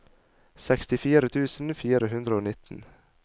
sekstifire tusen fire hundre og nitten